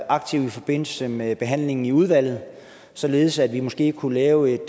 aktiv i forbindelse med behandlingen i udvalget således at vi måske kunne lave en